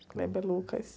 Kleber Lucas.